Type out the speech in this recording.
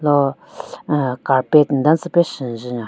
Ro aahh carpet nden tsü pe shyu njun nyon.